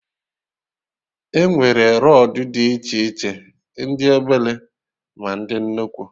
Enwere rọdụ dị iche iche, ndị obele, ma ndị nnukwu